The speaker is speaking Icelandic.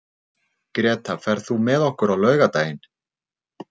Greta, ferð þú með okkur á laugardaginn?